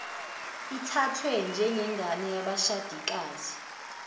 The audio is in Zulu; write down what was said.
ithathwe njengengane yabashadikazi